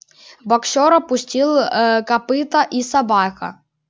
боксёр опустил копыто и собака